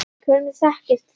Hvernig þekkist þið?